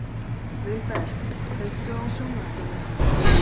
Vilbert, kveiktu á sjónvarpinu.